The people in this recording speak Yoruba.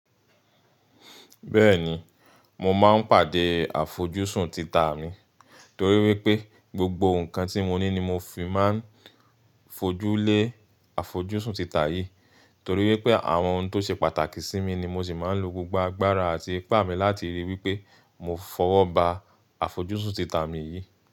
Bẹ́ẹ̀ni, mo máa ń pàdé àfojúsùn tita mi torí wípé gbogbo ǹkan tí mo ní ni mo fi máa ń fojú lé àfojúsùn tita yìí, torí wípé àwọn ohun tó ṣe pàtàkì sí mi ni mo sì máa ń lo gbogbo agbára àti ipá mi láti ríi wípé mo fọwọ́ ba àfojúsùn tita mi yìí.